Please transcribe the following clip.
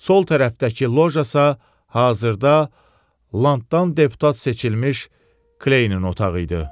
Sol tərəfdəki loja isə hazırda Landdan deputat seçilmiş Kleyin otağı idi.